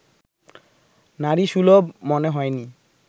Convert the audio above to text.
নারীসুলভ মনে হয়নি